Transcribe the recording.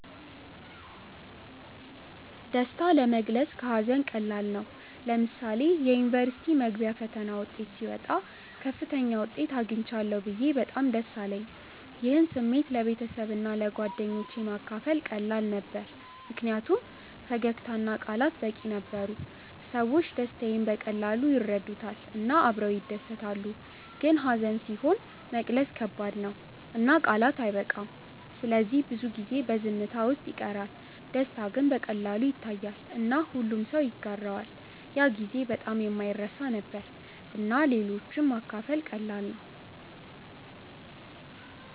ደስታ ለመግለጽ ከሀዘን ቀላል ነው። ለምሳሌ የዩኒቨርሲቲ መግቢያ ፈተና ውጤት ሲወጣ ከፍተኛ ውጤት አግኝቻለሁ ብዬ በጣም ደስ አለኝ። ይህን ስሜት ለቤተሰብና ለጓደኞቼ ማካፈል ቀላል ነበር ምክንያቱም ፈገግታ እና ቃላት በቂ ነበሩ። ሰዎች ደስታዬን በቀላሉ ይረዱታል እና አብረው ይደሰታሉ። ግን ሀዘን ሲሆን መግለጽ ከባድ ነው እና ቃላት አይበቃም ስለዚህ ብዙ ጊዜ በዝምታ ውስጥ ይቀራል። ደስታ ግን በቀላሉ ይታያል እና ሁሉም ሰው ይጋራዋል። ያ ጊዜ በጣም የማይረሳ ነበር እና ለሌሎች ማካፈል ቀላል ነበር።